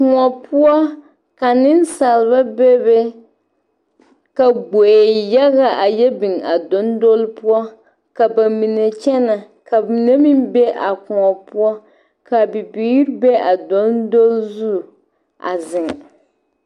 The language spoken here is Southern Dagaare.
Koɔ poɔ ka nensalba bebe ka gboe yaga a yɛ biŋ a dondonli poɔ ka ba mine kyɛnɛ ka mine meŋ be a koɔ poɔ ka bibiiri be a dondonli zu a zeŋ.